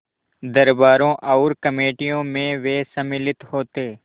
दरबारों और कमेटियों में वे सम्मिलित होते